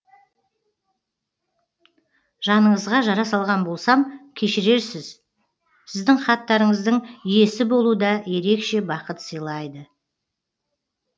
жаныңызға жара салған болсам кешірерсіз сіздің хаттарыңыздың иесі болу да ерекше бақыт сыйлайды